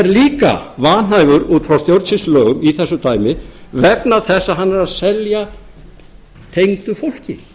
líka vanhæfur út frá stjórnsýslulögum í þessu dæmi vegna þess að hann er að selja tengdu fólki